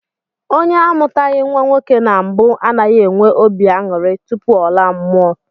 Onye amụtaghị nnwa nwoke na mbụ anaghị enwe obi aṅụrị tupu ọ laa mmụọ